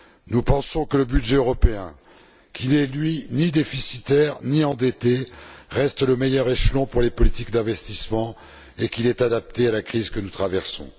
Nous pensons que le budget européen, qui n'est, lui, ni déficitaire, ni endetté, reste le meilleur échelon pour les politiques d'investissement, et qu'il est adapté à la crise que nous traversons.